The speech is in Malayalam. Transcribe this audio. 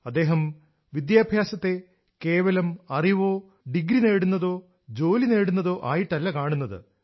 അദ്ദേഹം വിദ്യാഭ്യാസത്തെ കേവലം അറിവോ ഡിഗ്രി നേടുന്നതോ ജോലി നേടുന്നതോ ആയിട്ടല്ല കാണുന്നത്